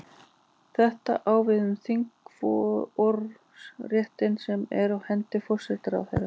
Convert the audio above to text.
Þetta á við um þingrofsréttinn sem er á hendi forsætisráðherra.